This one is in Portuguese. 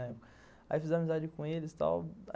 Aí fiz amizade com eles e tal.